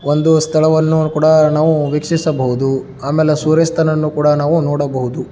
ಒಂದು ಸ್ಥಳವನ್ನು ಕೂಡ ನಾವು ವೀಕ್ಷಿಸಬಹುದು ಆಮೇಲೆ ಸೂರ್ಯಾಸ್ತವನ್ನು ಕೂಡ ನಾವು ನೋಡಬಹುದು.